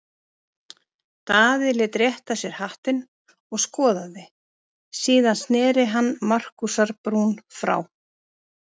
Daði lét rétta sér hattinn og skoðaði, síðan sneri hann Markúsar-Brún frá.